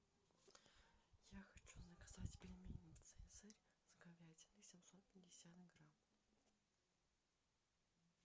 я хочу заказать пельмени цезарь с говядиной семьсот пятьдесят грамм